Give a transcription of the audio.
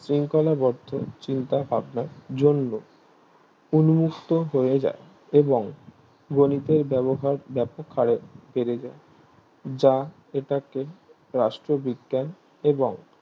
সিঙ্খলা বদ্ধ চিন্তা ভাবনার জন্য উম্মুক্ত হয়ে যায় এবং গণিতের ব্যবহার ব্যাপকহারে বেড়ে যায় যা এটাকে রাষ্ট্রবিজ্ঞেন এবং